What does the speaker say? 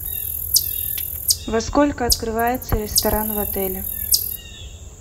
во сколько открывается ресторан в отеле